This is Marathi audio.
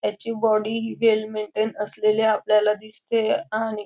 त्याची बॉडी हि वेल मेंटेन असलेली आपल्याला दिसते आणि --